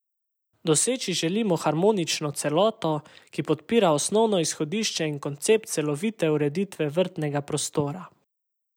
Doseči želimo harmonično celoto, ki podpira osnovno izhodišče in koncept celovite ureditve vrtnega prostora.